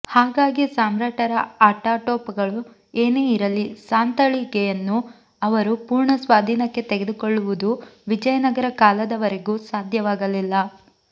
ಹಾಗಾಗಿ ಸಾಮ್ರಾಟರ ಆಟಾಟೋಪಗಳು ಏನೇ ಇರಲಿ ಸಾಂತಳಿಗೆಯನ್ನು ಅವರು ಪೂರ್ಣ ಸ್ವಾಧೀನಕ್ಕೆ ತೆಗೆದುಕೊಳ್ಳುವದು ವಿಜಯನಗರ ಕಾಲದವರೆಗೂ ಸಾಧ್ಯವಾಗಲಿಲ್ಲ